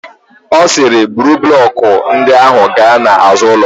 Ọ sịrị, buru blọkụ ndị ahụ gaa n'azụ ụlọ.